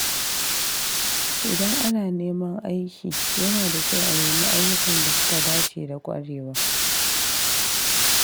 Idan ana neman aiki, yana da kyau a nemi ayyukan da suka dace da ƙwarewa.